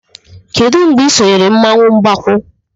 Kedu mgbe ị sonyere mmanwụ Mgbakwu?